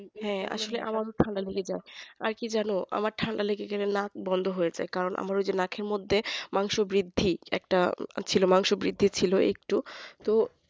হ্যাঁ আসলে আমাকে ও ঠান্ডা লেগে যায়। আর কি জানো তো আমার ঠান্ডা লেগে গেলে নাক বন্ধ হয়ে যায় কারণ আমার ওই যে নাখের মধ্যে অংশ বৃদ্ধি একটা অংশ বৃদ্ধি ছিল তো